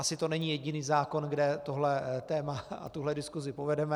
Asi to není jediný zákon, kde tohle téma a tuhle diskusi povedeme.